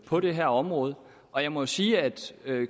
på det her område og jeg må sige at